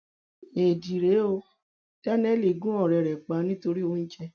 éèdì rèé ó daniel gun ọrẹ ẹ pa nítorí oúnjẹ